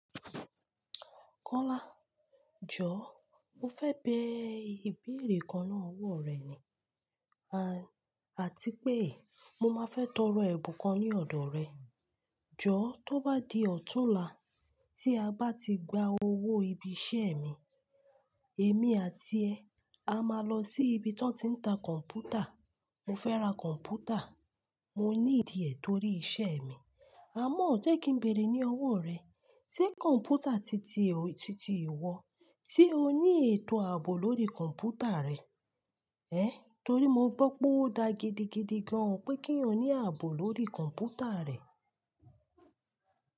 Kọ́lá, jọ̀ọ́ mo fẹ́ bẹ ìbéèrè kan náà ọwọ́ rẹ̀ ni, àti pé mo máa fẹ́ tọrọ ẹ̀bùn kan ní ọ̀dọ̀ rẹ. Jọ̀ọ́ tó bá di ọ̀túnla tí a bá ti gba owó ibi iṣẹ́ mi, èmi àti ẹ a máa lọ sí ibi tí wọ́n ti ń ta kọ̀m̀pútà. Mo fẹ́ ra kọ̀m̀pútà, mo ní ìdíẹ̀ torí iṣẹ́ mi. Àmọ́ ọ̀ jẹ́ kí n béèrè ní ọwọ́ rẹ̀, ṣé kọ̀m̀pútà titi ìwọ, ṣé o ní ètò ààbò lórí kọ̀m̀pútà rẹ? Ẹ̀ torí mo gbọ́ pé ó da gidi gan-an pé kí ẹ̀yin ò ní ààbò lórí kọ̀m̀pútà rẹ.